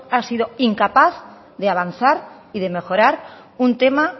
ha sido incapaz de avanzar y de mejorar un tema